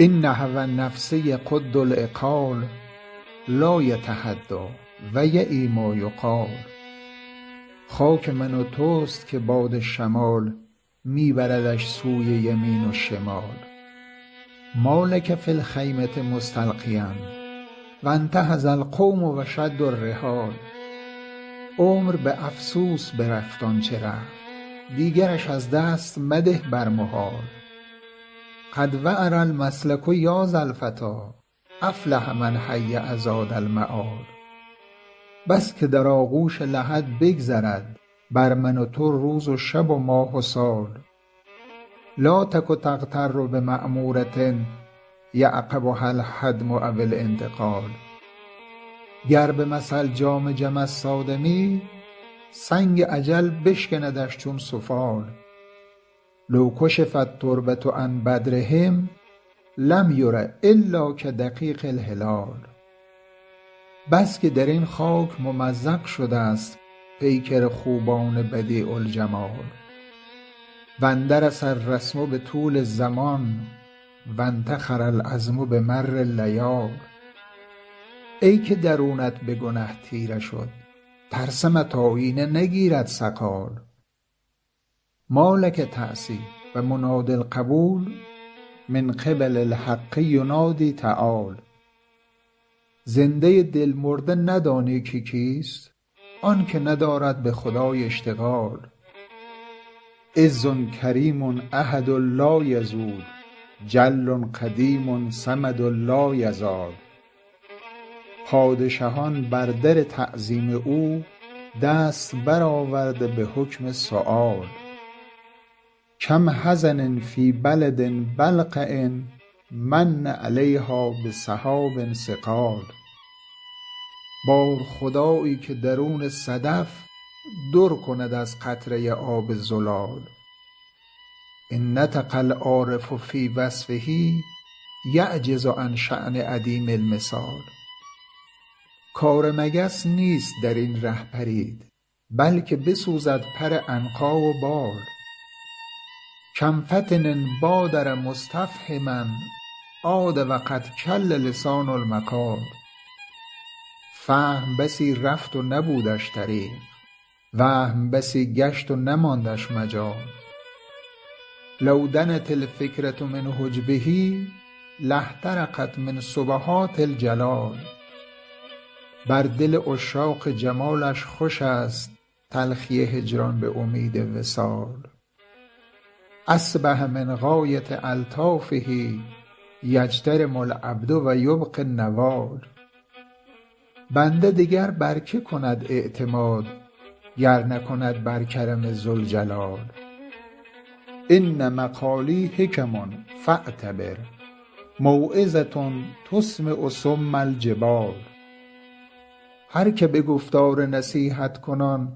إن هوی النفس یقد العقال لا یتهدیٰ و یعی ما یقال خاک من و توست که باد شمال می بردش سوی یمین و شمال ما لک فی الخیمة مستلقیا و انتهض القوم و شدوا الرحال عمر به افسوس برفت آن چه رفت دیگرش از دست مده بر محال قد وعر المسلک یا ذا الفتیٰ أفلح من هیأ زاد المآل بس که در آغوش لحد بگذرد بر من و تو روز و شب و ماه و سال لا تک تغتر بمعمورة یعقبها الهدم أو الانتقال گر به مثل جام جمست آدمی سنگ اجل بشکندش چون سفال لو کشف التربة عن بدرهم لم یر إلا کدقیق الهلال بس که درین خاک ممزق شدست پیکر خوبان بدیع الجمال و اندرس الرسم بطول الزمان و انتخر العظم بمر اللیال ای که درونت به گنه تیره شد ترسمت آیینه نگیرد صقال ما لک تعصی و منادی القبول من قبل الحق ینادی تعال زنده دل مرده ندانی که کیست آنکه ندارد به خدای اشتغال عز کریم أحد لایزول جل قدیم صمد لایزال پادشهان بر در تعظیم او دست برآورده به حکم سؤال کم حزن فی بلد بلقع من علیها بسحاب ثقال بار خدایی که درون صدف در کند از قطره آب زلال إن نطق العارف فی وصفه یعجز عن شأن عدیم المثال کار مگس نیست درین ره پرید بلکه بسوزد پر عنقا و بال کم فطن بادر مستفهما عاد و قد کل لسان المقال فهم بسی رفت و نبودش طریق وهم بسی گشت و نماندش مجال لو دنت الفکرة من حجبه لاحترقت من سبحات الجلال بر دل عشاق جمالش خوشست تلخی هجران به امید وصال أصبح من غایة ألطافه یجترم العبد و یبقي النوال بنده دگر بر که کند اعتماد گر نکند بر کرم ذوالجلال إن مقالي حکم فاعتبر موعظة تسمع صم الجبال هر که به گفتار نصیحت کنان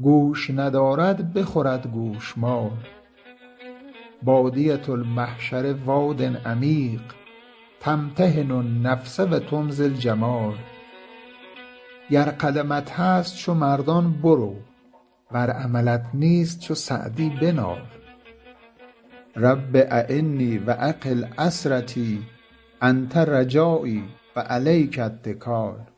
گوش ندارد بخورد گوشمال بادیة المحشر واد عمیق تمتحن النفس و تمضی الجمال گر قدمت هست چو مردان برو ور عملت نیست چو سعدی بنال رب أعنی و أقل عثرتی أنت رجایی و علیک اتکال